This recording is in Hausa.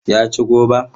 Ya ci goban?